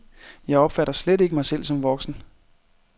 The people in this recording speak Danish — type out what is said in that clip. Jeg opfatter slet ikke mig selv som voksen.